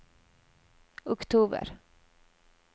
oktober